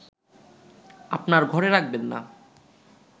আপনার ঘরে রাখবেন না